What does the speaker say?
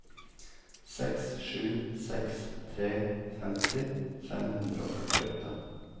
seks sju seks tre femti fem hundre og førtiåtte